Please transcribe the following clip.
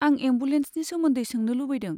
आं एम्बुलेन्सनि सोमोन्दै सोंनो लुबैदों।